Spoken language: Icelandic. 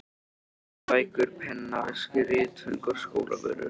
Ilmandi bækur, pennaveski, ritföng og skólavörur.